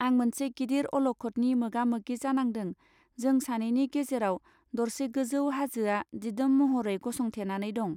आं मोनसे गिदिर अलखतनि मोगामोगि जानांदों जों सानैनि गेजेराउ दरसे गोजौ हाजोआ दिदोम महरै गसं थेनानै दं.